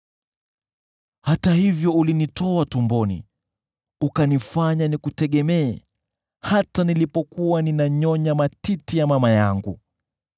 Hata hivyo ulinitoa tumboni, ukanifanya nikutegemee, hata nilipokuwa ninanyonya matiti ya mama yangu.